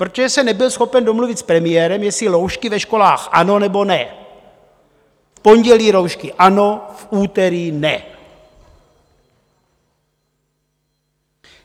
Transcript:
Protože se nebyl schopen domluvit s premiérem, jestli roušky ve školách ano, nebo ne - v pondělí roušky ano, v úterý ne.